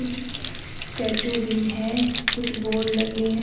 Statue भी है कुछ बोर्ड लगे हैं।